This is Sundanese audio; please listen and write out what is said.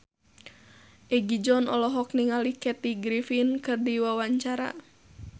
Egi John olohok ningali Kathy Griffin keur diwawancara